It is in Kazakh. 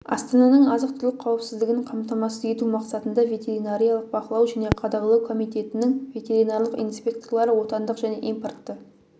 астананың азық-түлік қауіпсіздігін қамтамасыз ету мақсатында ветеринариялық бақылау және қадағалау комитетінің ветеринарлық инспекторлары отандық және импортты